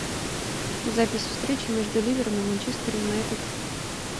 запись встречи между ливером и манчестер юнайтед